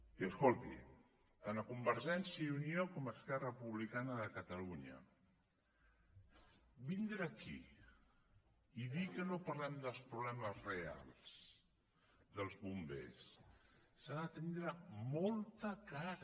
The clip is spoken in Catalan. i escolti tant a convergència i unió com a esquerra republicana de catalunya per vindre aquí i dir que no parlem dels problemes reals dels bombers s’ha de tindre molta cara